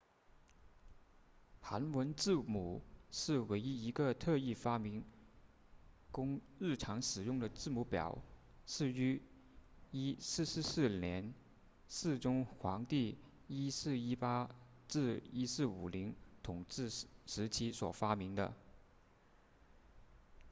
韩文字母是唯一一个特意发明供日常使用的字母表是于1444年世宗皇帝1418 1450统治时期所发明的